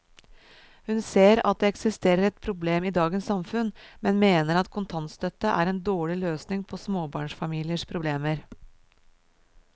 Hun ser at det eksisterer et problem i dagens samfunn, men mener at kontantstøtte er en dårlig løsning på småbarnsfamiliers problemer.